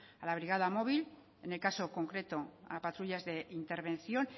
a la brigada móvil en el caso concreto a patrullas de intervención